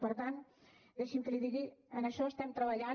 per tant deixi’m que li ho digui en això estem treballant